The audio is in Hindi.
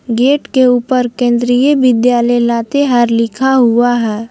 गेट के ऊपर केंद्रीय विद्यालय लातेहार लिखा हुआ है।